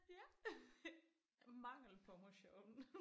Ja mangel på motion